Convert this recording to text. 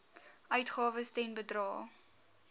uitgawes ten bedrae